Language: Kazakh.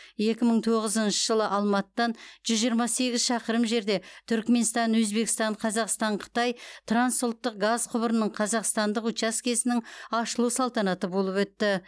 екі мың тоғызыншы жылы алматыдан жүз жиырма сегіз шақырым жерде түрікменстан өзбекстан қазақстан қытай трансұлттық газ құбырының қазақстандық учаскесінің ашылу салтанаты болып өтті